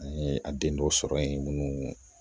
An ye a den dɔ sɔrɔ yen minnu